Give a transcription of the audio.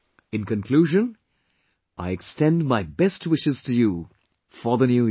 In conclusion, I extend my best wishes to you for the New Year